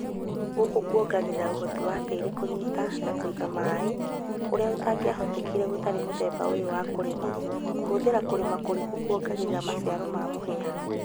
Gũkũ kuongagĩrĩra uhoti wa tĩĩri kũnyita na kũiga maĩ ũrĩa ũtangiahotekire gũtarĩ na mũthemba ũyũ wa kũrĩma. Kũhũthira kũrĩma kũriku kuongagĩrĩra maciaro ma mũhĩa